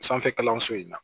Sanfɛ kalanso in na